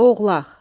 Oğlaq.